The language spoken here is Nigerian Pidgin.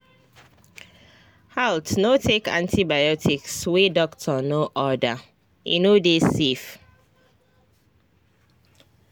haltno take antibiotics wey doctor no ordere no dey safe.